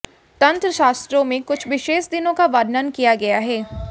तंत्र शास्त्र में कुछ विशेष दिनों का वर्णन किया गया है